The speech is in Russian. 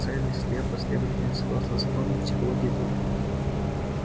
к цели слепо а следовательно согласно законам психологии толпы